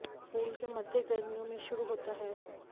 फूल के मध्य गर्मियों में शुरू होता है